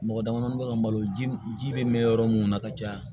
Mɔgɔ damadɔnin bɛ ka malo ji bɛ mɛn yɔrɔ minnu na ka caya